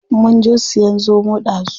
Munje siyan zomo ɗazu.